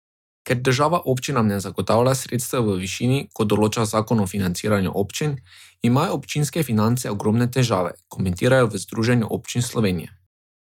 Ker država občinam ne zagotavlja sredstev v višini, kot določa zakon o financiranju občin, imajo občinske finance ogromne težave, komentirajo v Združenju občin Slovenije.